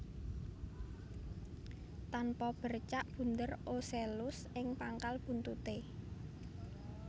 Tanpa bercak bunder ocellus ing pangkal buntuté